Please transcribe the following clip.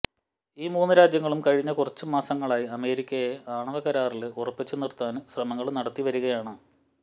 ഈ മൂന്ന് രാജ്യങ്ങളും കഴിഞ്ഞ കുറച്ച് മാസങ്ങളായി അമേരിക്കയെ ആണവ കരാറില് ഉറപ്പിച്ചുനിര്ത്താന് ശ്രമങ്ങള് നടത്തിവരികയാണ്